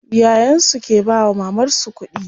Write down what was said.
Yayan su ke bawa mamar su kuɗi.